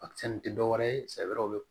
Akisɛ nin tɛ dɔwɛrɛ ye sɛ wɛrɛw bɛ